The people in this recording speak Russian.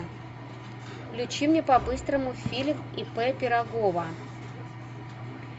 включи мне по быстрому фильм ип пирогова